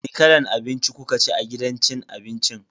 Wani kalan abinci kukaci a gidan cin abincin?